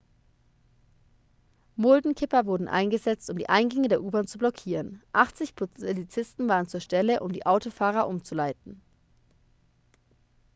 muldenkipper wurden eingesetzt um die eingänge der u-bahn zu blockieren 80 polizisten waren zur stelle um die autofahrer umzuleiten